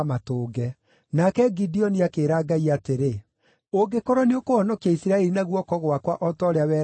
Nake Gideoni akĩĩra Ngai atĩrĩ, “Ũngĩkorwo nĩũkũhonokia Isiraeli na guoko gwakwa o ta ũrĩa weranĩire-rĩ,